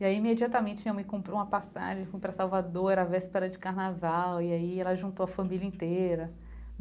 E aí, imediatamente, minha mãe comprou uma passagem, fui para Salvador, era véspera de Carnaval, e aí ela juntou a família inteira.